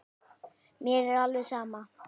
Mér er alveg sama